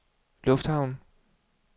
lufthavn